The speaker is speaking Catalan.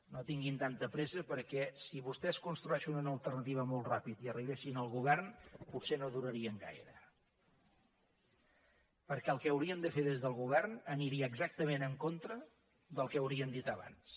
no tinguin tanta pressa perquè si vostès construïssin una alternativa molt ràpidament i arribessin al govern potser no durarien gaire perquè el que haurien de fer des del govern aniria exactament en contra del que haurien dit abans